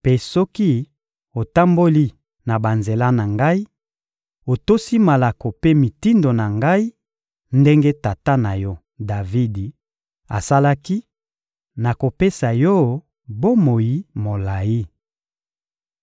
Mpe soki otamboli na banzela na Ngai, otosi malako mpe mitindo na Ngai ndenge tata na yo, Davidi, asalaki, nakopesa yo bomoi molayi.